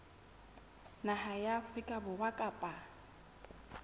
naha ya afrika borwa kapa